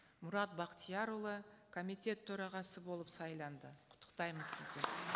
мұрат бақтиярұлы комитет төрағасы болып сайланды құттықтаймыз сізді